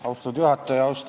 Austatud juhataja!